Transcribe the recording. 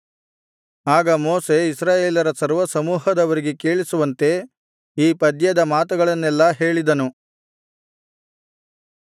ಆಗ ಮೋಶೆ ಇಸ್ರಾಯೇಲರ ಸರ್ವಸಮೂಹದವರಿಗೆ ಕೇಳಿಸುವಂತೆ ಈ ಪದ್ಯದ ಮಾತುಗಳನ್ನೆಲ್ಲಾ ಹೇಳಿದನು